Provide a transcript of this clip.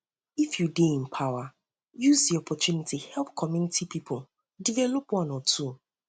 if you de in power use di opportunity help community pipo develop one or two